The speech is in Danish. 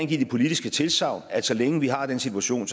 give det politiske tilsagn at så længe vi har den situation